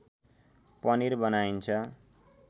पनिर बनाइन्छ